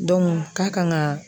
k'a kan ka